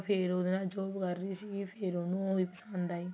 ਫ਼ੇਰ ਉਹਦੇ ਨਾਲ job ਕਰਦੀ ਸੀਗੀ ਫ਼ੇਰ ਉਹਨੂੰ ਉਹੀ ਪਸੰਦ ਆਈ